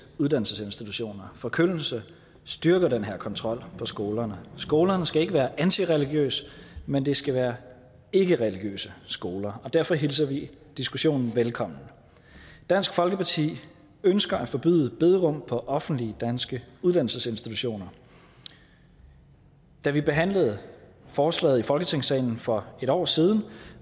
uddannelsesinstitutioner forkyndelse styrker den her kontrol på skolerne skolerne skal ikke være antireligiøse men de skal være ikkereligiøse skoler og derfor hilser vi diskussionen velkommen dansk folkeparti ønsker at forbyde bederum på offentlige danske uddannelsesinstitutioner da vi behandlede forslaget i folketingssalen for et år siden